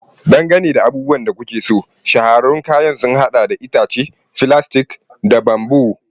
Dangane da abubuwan da kuke so, shahararrun kayan sun haɗa da itace, filastik, da bamboo.